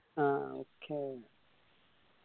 ആ okay